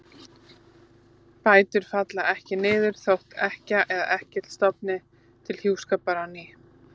Bætur falla ekki niður þótt ekkja eða ekkill stofni til hjúskapar á ný.